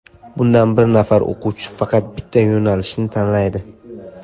Bunda bir nafar o‘quvchi faqat bitta yo‘nalishni tanlaydi.